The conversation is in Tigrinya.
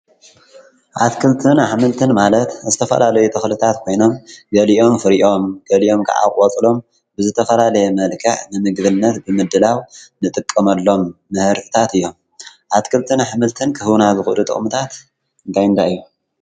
ኣትክልትን ኃምልትን ማለት እስተፈላለ ተዂልታት ኮይኖም ገሊዮም እዮምም ገሊዮም ክዓቝፅሎም ብዘተፈላለየ መልክዕ ንምግድነት ብምድላው ንጥቆመሎም መህርታት እዮም ኣትክልትን ኣኅምልትን ክህሁና ብዂዱ ጠዉሙታት ካይንታይ እዮም።